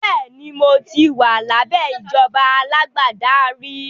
Bẹ́ẹ̀ni, mo ti wà lábẹ́ ìjọba alágbádá rí